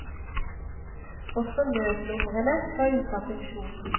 Også nødnumrene var ute av funksjon.